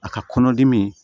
A ka kɔnɔdimi